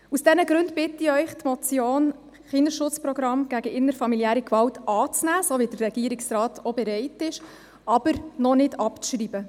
Aus diesen Gründen bitte ich Sie, die Motion «Kindesschutz-Programm gegen innerfamiliäre Gewalt» anzunehmen, wozu auch der Regierungsrat bereit ist, aber sie noch nicht abzuschreiben.